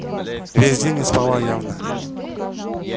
весь день не спала явно